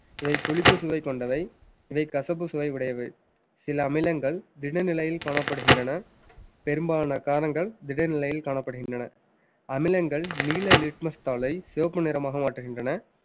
இவை புளிப்பு சுவை கொண்டவை இவை கசப்பு சுவை உடையவை சில அமிலங்கள் திடநிலையில் காணப்படுகின்றன பெரும்பாலான காரங்கள் திட நிலையில் காணப்படுகின்றன அமிலங்கள் நீல litmus தாளை சிவப்பு நிறமாக மாற்றுகின்றன